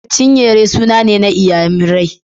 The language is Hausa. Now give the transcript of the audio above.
Chinyere suna ne na Inyamurai